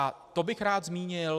A to bych rád zmínil.